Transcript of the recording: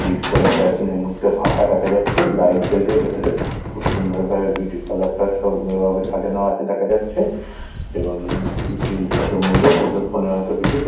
beauty parlour -টা এখানে মধ্যে ফাঁকা দেখা যাচ্ছে লাইট জ্বলছে ভিতরে খুব সুন্দর ভাবে বিউটি পার্লারটা -টা সুন্দর ভাবে সাজানো আছে দেখা যাচ্ছে এবং সেই ভদ্র মহিলা বসে ফোনে হয়তো কিছু দেখ--